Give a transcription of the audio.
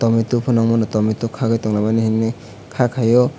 tomato pono wngmano tomato kagoi tongo mihim moi ka kayo.